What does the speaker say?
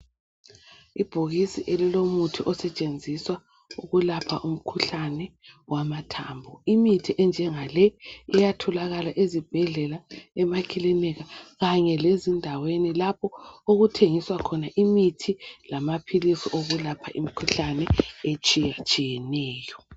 Ibhokisi elilomuthi osetshenziswa ukulapha umkhuhlane wamathambo. Imithi enjengale iyatholakala ezibhedlela, emakilinika, kanye lezindaweni lapho okuthengiswa khona imithi lamaphilisi okulapha imkhuhlane etshiyetshiyeneyo.